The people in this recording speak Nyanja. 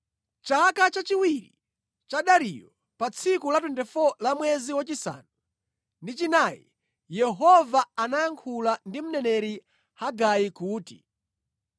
Chaka chachiwiri cha Dariyo, pa tsiku la 24 la mwezi wachisanu ndi chinayi, Yehova anayankhula ndi mneneri Hagai kuti: